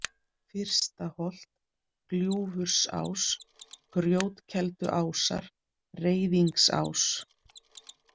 Fyrstaholt, Gljúfursás, Grjótkelduásar, Reiðingsás